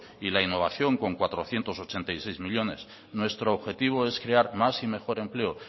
y la innovación con cuatrocientos ochenta y seis millónes nuestro objetivo es crear más y mejor empleo